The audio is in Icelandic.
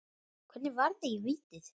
Hvernig varði ég vítið?